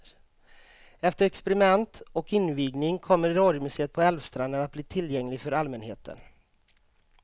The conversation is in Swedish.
Efter experiment och invigning kommer radiomuseet på älvstranden att bli tillgängligt för allmänheten.